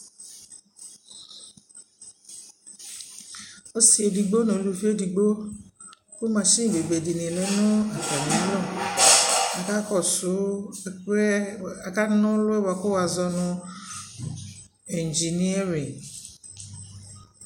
ɔsii ɛdigbɔ nʋ ʋlʋvi ɛdigbɔ kʋ mashini ɔbɛbɛ di lɛ nʋ atami alɔ, aka kɔsʋ ɛkʋɛɛ aka nɔlʋ kʋ wa zɔnʋ engineering